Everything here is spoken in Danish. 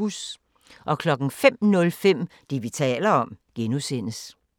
05:05: Det, vi taler om (G)